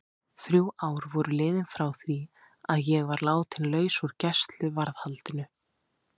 Þrjú ár voru liðin frá því að ég var látin laus úr gæsluvarðhaldinu.